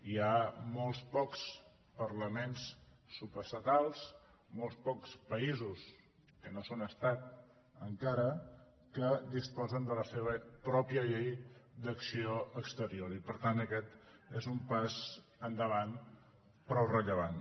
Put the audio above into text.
hi ha molt pocs parlaments subestatals molt pocs països que no són estat encara que disposen de la seva pròpia llei d’acció exterior i per tant aquest és un pas endavant prou rellevant